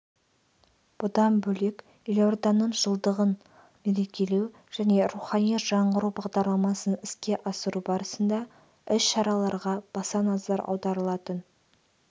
бұдан бөлек елорданың жылдығын мерекелеу және рухани жаңғыру бағдарламасын іске асыру барысында іс-шараларға баса назар аударылатын